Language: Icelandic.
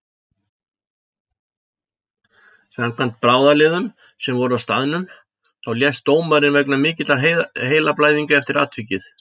Samkvæmt bráðaliðum sem voru á staðnum þá lést dómarinn vegna mikilla heilablæðinga eftir atvikið.